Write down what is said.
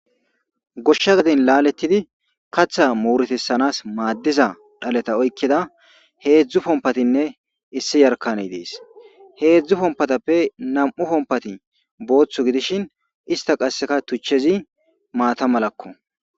Goshsha gaden laalettidi katha muuretissanas maaddiza dhaleta oykkeda heedzdzu pompatinne issi yarkane dees heedzdzu pompatappe nam'u pompati booththu gidishin ista qasseka tuchchezi maata malakko